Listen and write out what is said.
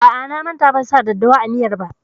A'a, na manta ban sa daddawa a miyar ba.